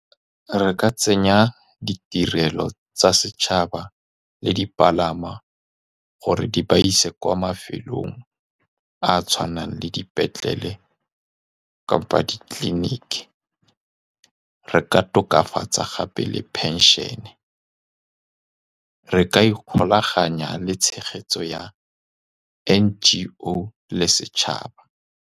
Re ka tsenya ditirelo tsa setšhaba le dipalangwa gore di ba ise kwa mafelong a a tshwanang le dipetlele kapa di-clinic. Re ka tokafatsa gape le pension-e. Re ka ikgolaganya le tshegetso ya NGO le setšhaba.